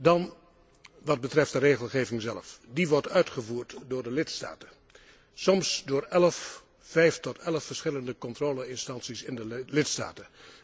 Dan wat betreft de regelgeving zelf. Die wordt uitgevoerd door de lidstaten, soms door vijf tot elf verschillende controle instanties in de lidstaten.